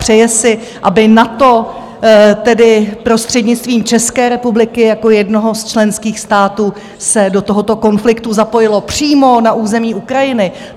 Přeje si, aby NATO tedy prostřednictvím České republiky jako jednoho z členských států se do tohoto konfliktu zapojilo přímo na území Ukrajiny.